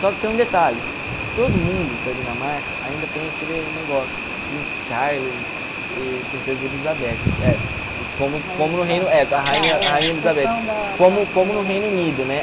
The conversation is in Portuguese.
Só que tem um detalhe, todo mundo da Dinamarca ainda tem aquele negócio, tipo, Príncipe Charles e Princesa Elizabeth, é, como como no Reino Rainha Rainha Elizabeth como como no Reino Unido, né?